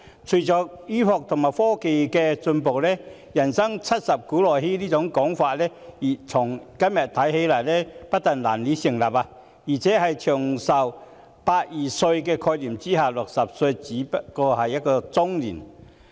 隨着醫學和科技進步，"人生七十古來稀"這說法今天不但難以成立，而且在"長命百二歲"的概念下 ，60 歲不過是中年。